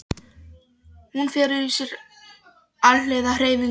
Hún felur í sér alhliða hreyfingu og er hættulaus.